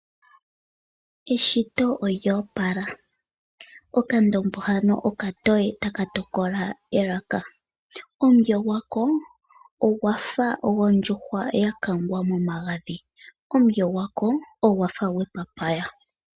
Eshito olyo opala. Okandombo hano okatoye taka tokola elaka. Omulyo gwako ogwa fa gondjuhwa ya kangwa momagadhi. Omulyo gwako ogwa fa gwepapaya.